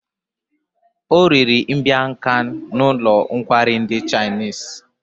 O riri mbiang khan n'ụlọ nkwari ndi chinese